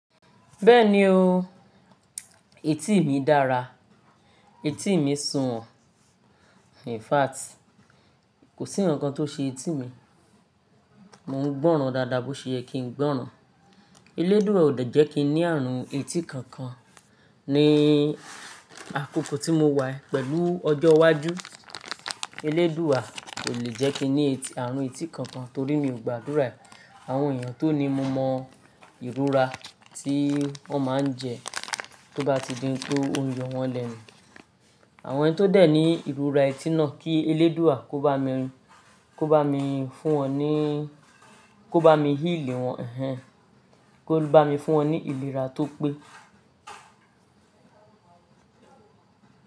Bẹ́ẹ̀ni o, etí mi dára, etí mi sùnwọ̀n. In fact, kò sí ǹkan tó ṣe etí mi. Mo ń gbọ́ràn dáadáa bó ṣe yẹ kìń gbọ́ràn. Eléédùà ò de jẹ́ kín ní ààrùn etí kankan ní àkókò tí mo wà yii pẹ̀lú ọjọ́ iwájú. Eléédùrà ò le jẹ́ kí n ní àrùn etí kankan torí mi ò gba àdúrà àwọn èèyàn tó ní mo mọ ìrora tí wọ́n máa ń jẹ tó bá ti dínkú ounyo wọn lẹ́nu. Àwọn ẹni tó dẹ̀ ní ìrora etí náà kí eléédùà kó bá mi fún wọn ní, kó bá mi healẹ̀ wọn, ehn ẹn, kó bá mi fún wọn ní ìlera tó pé.